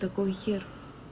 такой хер